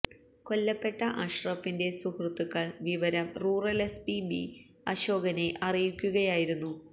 കൊല്ലപ്പെട്ട അഷ്റഫിന്റെ സുഹൃത്തുക്കൾ വിവരം റൂറൽ എസ്പി ബി അശോകനെ അറിയിക്കുകയായിരുന്നു